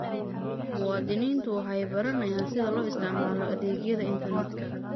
Muwaadiniintu waxay baranayaan sida loo isticmaalo adeegyada internetka.